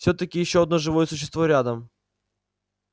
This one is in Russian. всё-таки ещё одно живое существо рядом